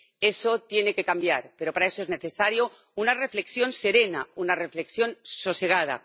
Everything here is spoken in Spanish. Eso tiene que cambiar, pero para eso es necesaria una reflexión serena, una reflexión sosegada.